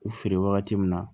U feere wagati min na